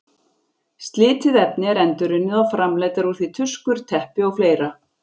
Slitið efni er endurunnið og framleiddar úr því tuskur, teppi og fleira.